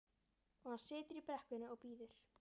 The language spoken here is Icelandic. Og hann situr í brekkunni og bíður.